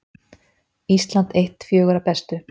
Ísland eitt fjögurra bestu